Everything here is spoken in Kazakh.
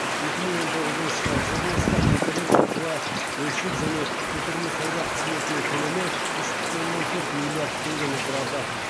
екі мың он тоғызыншы жылы облыста интернет арқылы бөлшек және көтерме сауда қызметінің көлемі үш бүтін оннан төрт миллиард теңгені құрады